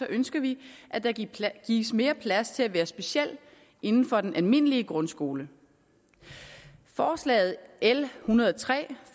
ønsker vi at der gives mere plads til at være speciel inden for den almindelige grundskole forslag l en hundrede og tre